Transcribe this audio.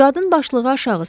Qadın başlığı aşağı saldı.